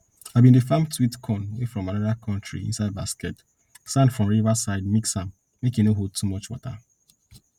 i bin dey farm sweet corn wey from another country inside basket sand from river side mix am make e no hold water too much